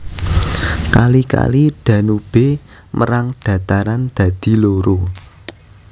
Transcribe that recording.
Kali Kali Danube mérang dhataran dadi loro